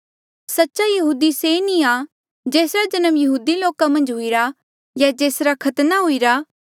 सच्चा यहूदी से नी आ जेसरा जन्म यहूदी लोका मन्झ हुईरा या जेसरा खतना हुईरा